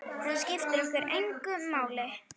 Það skiptir okkur engu máli.